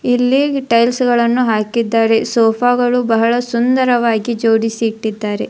ಇಲ್ಲಿ ಟೈಲ್ಸ್ ಗಳನ್ನು ಹಾಕಿದ್ದಾರೆ ಸೋಫಾ ಗಳು ಬಹಳ ಸುಂದರವಾಗಿ ಜೋಡಿಸಿ ಇಟ್ಟಿದ್ದಾರೆ.